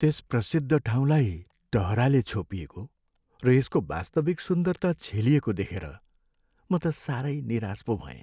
त्यस प्रसिद्ध ठाउँलाई टहराले छोपिएको र यसको वास्तविक सुन्दरता छेलिएको देखेर म त सारै निराश पो भएँ।